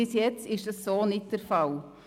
Bis jetzt ist dies jedoch nicht der Fall.